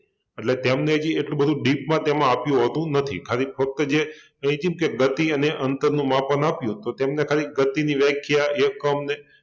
એટલે તેમને હજી એટલુ બધુ dip માં તેમાં આપ્યુ હોતું નથી ખાલી ફક્ત જે કઈ છી ન કે ગતિ અને અંતરનું માપ આપણને આપ્યુ તો તેમને ખાલી ગતિની વ્યાખ્યા, એકમ